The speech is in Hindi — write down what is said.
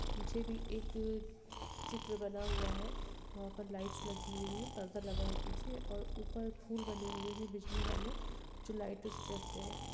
पीछे भी एक चित्र बना हुआ है यहाँ पर लाइट्स लगी हुई है पर्दा लगा है पीछे और ऊपर फूल बने हुए हैं बिजली वाले जो लाइटो से जलते हैं।